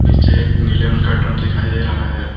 नीचे एक नीले रंग का ड्रम दिखाई दे रहा है।